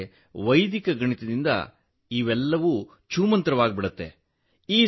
ಆದರೆ ವೈದಿಕ ಗಣಿತದಿಂದ ಇದೆಲ್ಲವೂ ಛೂಮಂತ್ರವಾಗುತ್ತದೆ